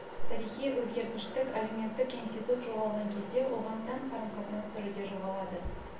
тарихи өзгергіштік әлеуметтік институт жоғалған кезде оған тән қарым-қатынас түрі де жоғалады